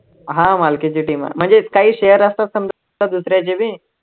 हा मालकीची team आहे, म्हणजे काही share असतात, समजा दुसऱ्याचे बी